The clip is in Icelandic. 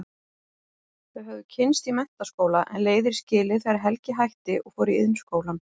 Þau höfðu kynnst í menntaskóla en leiðir skilið þegar Helgi hætti og fór í Iðnskólann.